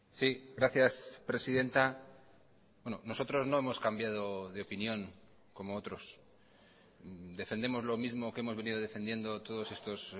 sí gracias presidenta nosotros no hemos cambiado de opinión como otros defendemos lo mismo que hemos venido defendiendo todos estos